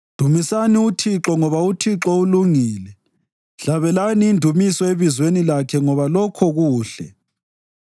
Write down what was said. Dumisani uThixo ngoba uThixo ulungile; hlabelani indumiso ebizweni lakhe ngoba lokho kuhle.